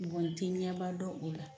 Mɔɔ tɛ ɲɛba dɔ o la.